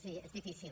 sí és difícil